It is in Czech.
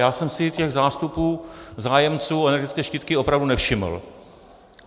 Já jsem si těch zástupů zájemců o energetické štítky opravdu nevšiml.